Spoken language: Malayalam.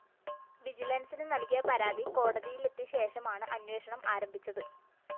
വിജിലന്‍സിന് നല്‍കിയ പരാതി കോടതിയിലെത്തിയശേഷമാണ് അന്വേഷണം ആരംഭിച്ചത്